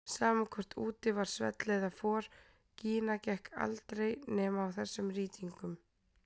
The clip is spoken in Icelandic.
Sama hvort úti var svell eða for, Gína gekk aldrei nema á þessum rýtingum.